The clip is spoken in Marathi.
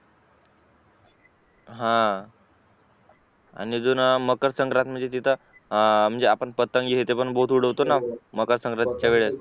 हा आणि अजून मकरसंक्रत म्हणजे तीत आपण पतंग हे आपण BOTH उडवतोना मकरसंक्रतीचा वेळेस